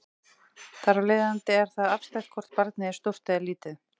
Þar af leiðandi er það afstætt hvort barnið er stórt eða lítið.